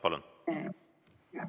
Palun!